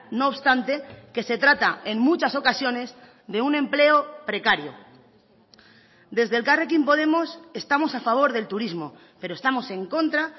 no obstante que se trata en muchas ocasiones de un empleo precario desde elkarrekin podemos estamos a favor del turismo pero estamos en contra